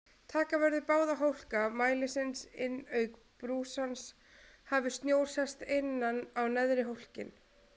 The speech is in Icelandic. Taka verður báða hólka mælisins inn auk brúsans hafi snjór sest innan á neðri hólkinn.